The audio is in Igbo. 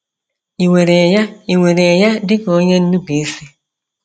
Ị̀ were ya Ị̀ were ya dị ka onye nnupụisi?